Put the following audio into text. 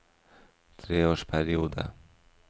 treårsperiode